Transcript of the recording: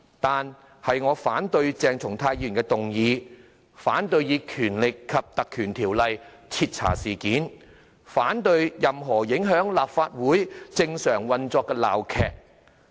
不過，我反對鄭松泰議員的議案；反對引用《條例》徹查事件；反對任何影響立法會正常運作的鬧劇。